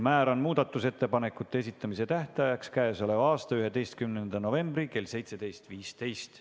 Määran muudatusettepanekute esitamise tähtajaks k.a 11. novembri kell 17.15.